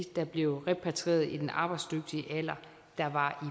der blev repatrieret i den arbejdsdygtige alder der var